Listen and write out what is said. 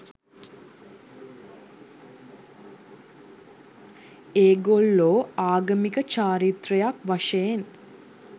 ඒගොල්ලෝ ආගමික චාරිත්‍රයක් වශයෙන්